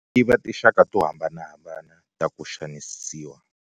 Tiva tinxaka to hambanahambana ta ku Xanisiwa.